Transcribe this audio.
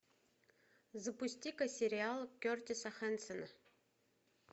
запусти ка сериал кертиса хэнсона